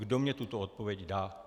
Kdo mi tuto odpověď dá.